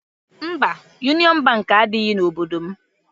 Mba, Yunịọn Bankị adịghị n'obodo m.